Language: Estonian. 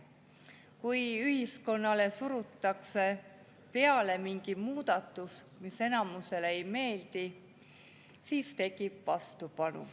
Kui ühiskonnale surutakse peale mingi muudatus, mis enamusele ei meeldi, siis tekib vastupanu.